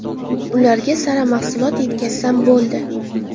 Ularga sara mahsulot yetkazsam bo‘ldi.